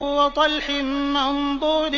وَطَلْحٍ مَّنضُودٍ